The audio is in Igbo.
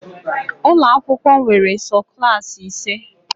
Ụlọ akwụkwọ nwere sọ Klassị ise